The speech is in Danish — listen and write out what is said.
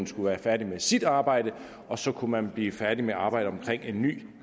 skulle være færdigt med sit arbejde og så kunne man blive færdige med arbejdet omkring en ny